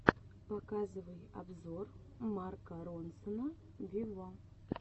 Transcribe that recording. показывай обзор марка ронсона виво